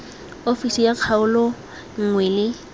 ofisi ya kgaolo nngwe le